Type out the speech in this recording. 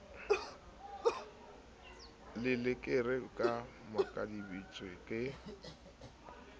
le lereko ba makaditswe ke